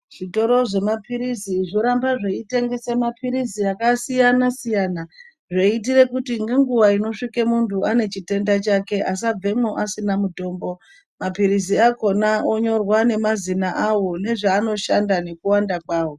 Zvitoro zvemaphirizi zvoramba zveitengesa maphirizi akasiyana siyana zviitire kuti ngenguwa inosvikire muntu anechitenda chake asabvemwo asina mutombo maphirizi akona onyorwa nemazina awo nezvaanoshanda nekuwanda kwawo.